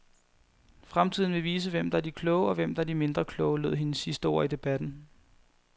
Fremtiden vil vise, hvem der er de kloge, og hvem der er de mindre kloge, lød hendes sidste ord i debatten.